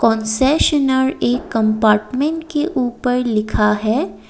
Concessionaire एक compartment के ऊपर लिखा है।